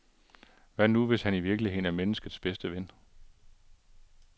Hvad nu, hvis han i virkeligheden er menneskets bedste ven?